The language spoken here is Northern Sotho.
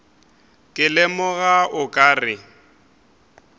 ke lemoga o ka re